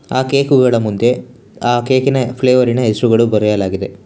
ಆ ಕೇಕುಗಳ ಮುಂದೆ ಆ ಕೇಕಿ ನ ಫ಼್ಲೆವರಿನ ಹೆಸರುಗಳು ಬರೆಯಲಾಗಿದೆ.